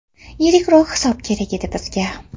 Yirikroq hisob kerak edi bizga.